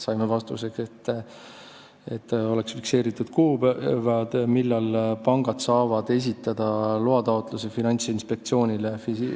Saime vastuseks, et põhjus on selles, et oleks fikseeritud kuupäevad, millal pangad saavad esitada loataotluse Finantsinspektsioonile.